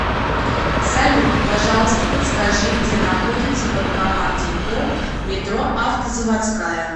салют пожалуйста подскажи где находится банкомат тинькофф метро автозаводская